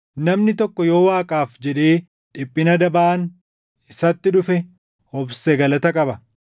Namni tokko yoo Waaqaaf jedhee dhiphina dabaan isatti dhufe obse galata qaba.